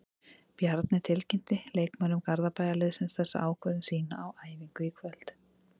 Bjarni tilkynnti leikmönnum Garðabæjarliðsins þessa ákvörðun sína á æfingu í kvöld.